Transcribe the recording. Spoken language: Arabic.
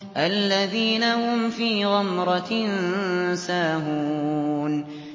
الَّذِينَ هُمْ فِي غَمْرَةٍ سَاهُونَ